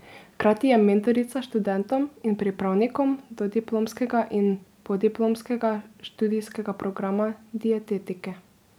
Hkrati je mentorica študentom in pripravnikom dodiplomskega in podiplomskega študijskega programa dietetike.